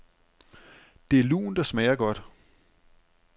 Det er lunt og smager godt.